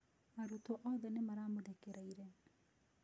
Arutwo othe nĩmaramũthekereire.